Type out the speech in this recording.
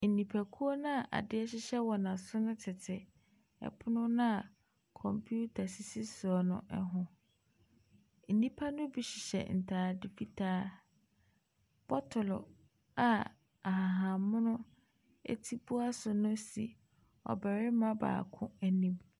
Nnipakuo no a adeɛ hyehyɛ wɔn aso no tete pono no a kɔmputa sisi soɔ no ho. Nnipa no bi hyehyɛ ntade fitaa. Bottle a ahahan mono ti bua so no si ɔbarima baako anim.